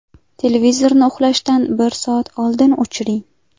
Televizorni uxlashdan bir soat oldin o‘chiring.